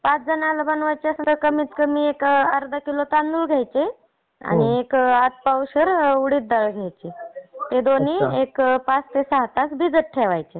पाच जणांना बनवायचे असेल तर कमीत कमी अर्धा किलो तांदूळ द्यायचे आणि एक अतपावशर उडीद दाळ घ्यायची. हे दोनी पाच ते सहा तास भिजत ठेवायची.